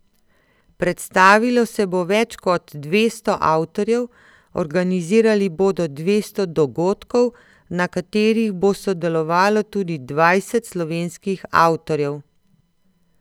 Predstavilo se bo več kot dvesto avtorjev, organizirali bodo dvesto dogodkov, na katerih bo sodelovalo tudi dvajset slovenskih avtorjev.